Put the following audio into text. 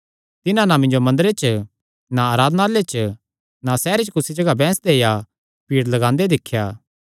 तिन्हां ना मिन्जो मंदरे च ना आराधनालय च ना सैहरे च कुसी सौगी बैंह्सदे या भीड़ लगांदे दिख्या